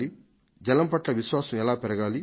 జలం పట్ల విశ్వాసం ఎలా పెరగాలి